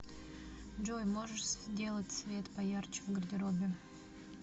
джой можешь сделать свет поярче в гардеробе